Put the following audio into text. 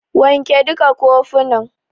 Wanke duka kofunan.